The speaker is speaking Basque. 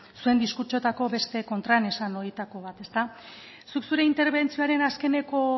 zuen diskurtsoetako beste kontraesan horietako bat zuk zure interbentzioaren azkeneko